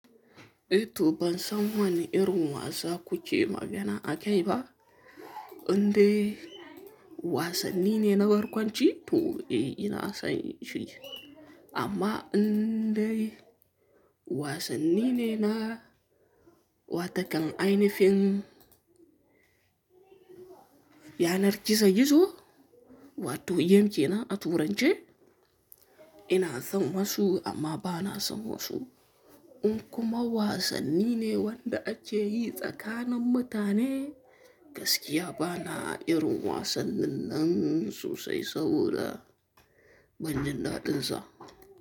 Eh to ban san wani irin wasa kuke magana ake ba. Indai wasanni ne na barkwanci? To eh, ina son shi. Amma indai wasanni ne na, wa ta kan ainihin yanar gizo-gizo? Wato, game ke nan a turanci? Ina son wasu amma ba na son wasu. In kuma wasanni ne wanda ake yi tsakanin mutane, gaskiya ba na irin wasannin nan sosai saboda banjin daɗinsa.